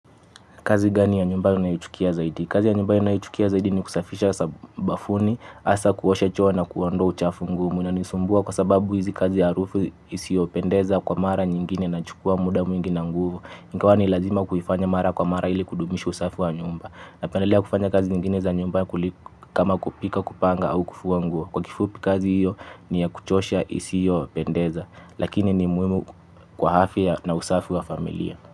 Kazi gani ya nyumba unaichukia zaidi? Kazi ya nyumba ninayo ichukia zaidi ni kusafisha bafuni, hasa kuosha choo na kuondoa uchafu ngumu. Inanisumbua kwa sababu hizi kazi harufu isiopendeza kwa mara nyingine na chukua muda mwingi na nguvu. Ingawa ni lazima kuifanya mara kwa mara ili kudumisha usafi wa nyumba. Na pendelea kufanya kazi nyingine za nyumba kama kupika, kupanga au kufua ngua. Kwa kifupi kazi hiyo ni ya kuchosha isiyo pendeza. Lakini ni muhimu kwa afya na usafi wa familia.